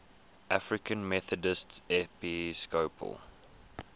african methodist episcopal